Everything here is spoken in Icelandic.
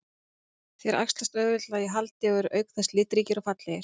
Þeir æxlast auðveldlega í haldi og eru auk þess litríkir og fallegir.